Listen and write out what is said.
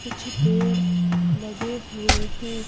कुछ पेड़ लगे हुए है।